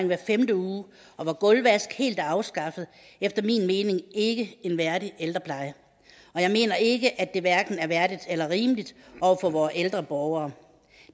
hver femte uge og hvor gulvvask helt er afskaffet efter min mening ikke en værdig ældrepleje og jeg mener ikke at det hverken er værdigt eller rimeligt over for vore ældre borgere